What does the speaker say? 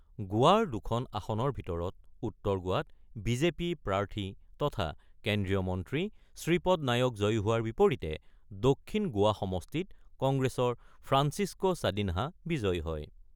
গোৱাৰ দুখন আসনৰ ভিতৰত উত্তৰ গোৱাত বিজেপি প্ৰাৰ্থী তথা কেন্দ্ৰীয় মন্ত্ৰী শ্ৰীপদ নায়ক জয়ী হোৱাৰ বিপৰীতে দক্ষিণ গোৱা সমষ্টিত কংগ্ৰেছৰ ফ্ৰাঞ্চিস্ক' ছাদিনহা বিজয়ী হয়।